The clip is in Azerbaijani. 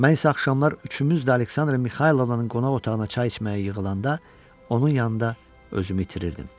Mən isə axşamlar üçümüz də Aleksandra Mixaylovnanın qonaq otağına çay içməyə yığılanda onun yanında özümü itirirdim.